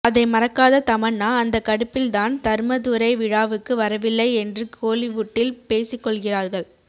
அதைமறக்காத தமன்னா அந்த கடுப்பில்தான் தர்மதுரை விழாவுக்கு வரவில்லை என்றுகோலிவுட்டில் பேசிக்கொள்கிறார்கள்